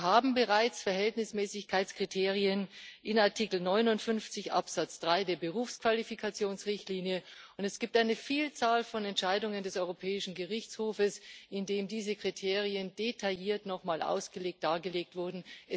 Wir haben bereits Verhältnismäßigkeitskriterien in Artikel 59 Absatz 3 der Berufsqualifikationsrichtlinie, und es gibt eine Vielzahl von Entscheidungen des Europäischen Gerichtshofs, in denen diese Kriterien nochmal detailliert ausgelegt, dargelegt wurden.